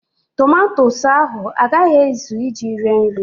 Tomatosu ahụ a gaghị ezụ iji sie nri.